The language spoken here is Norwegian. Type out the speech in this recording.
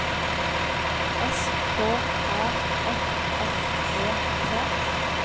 S K A F F E T